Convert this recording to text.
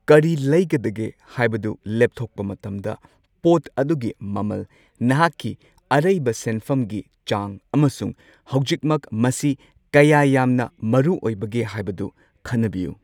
ꯀꯔꯤ ꯂꯩꯒꯗꯒꯦ ꯍꯥꯏꯕꯗꯨ ꯂꯦꯞꯊꯣꯛꯄ ꯃꯇꯝꯗ, ꯄꯣꯠ ꯑꯗꯨꯒꯤ ꯃꯃꯜ, ꯅꯍꯥꯛꯀꯤ ꯑꯔꯩꯕ ꯁꯦꯟꯐꯝꯒꯤ ꯆꯥꯡ ꯑꯃꯁꯨꯡ ꯍꯧꯖꯤꯛꯃꯛ ꯃꯁꯤ ꯀꯌꯥ ꯌꯥꯝꯅ ꯃꯔꯨꯑꯣꯏꯕꯒꯦ ꯍꯥꯏꯕꯗꯨ ꯈꯟꯅꯕꯤꯌꯨ꯫